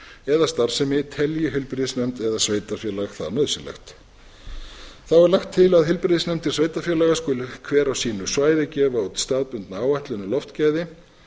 eða starfsemi telji heilbrigðisnefnd eða sveitarfélag það nauðsynlegt þá er lagt til að heilbrigðisnefndir sveitarfélaga skuli hver á sínu svæði gefa út staðbundna áætlun um loftgæði